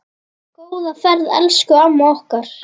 Góða ferð, elsku amma okkar.